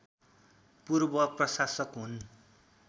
पूर्व प्रशासक हुन्